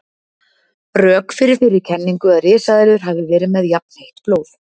Rök fyrir þeirri kenningu að risaeðlur hafi verið með jafnheitt blóð.